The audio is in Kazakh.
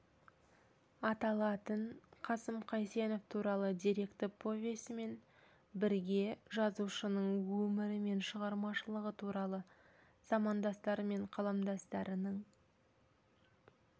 аталатын қасым қайсенов туралы деректі повесімен бірге жазушының өмірі мен шығармашылығы туралы замандастары мен қаламдастарының